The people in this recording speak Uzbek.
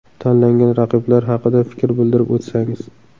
Tanlangan raqiblar haqida fikr bildirib o‘tsangiz.